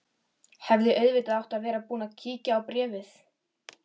Hefði auðvitað átt að vera búin að kíkja á bréfið.